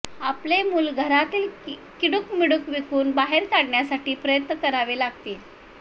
आपले मुल घरातील किडूक मिडूक विकून बाहेर काढण्यासाठी प्रयत्न करावे लागतील